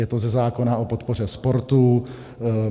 Je to ze zákona o podpoře sportu.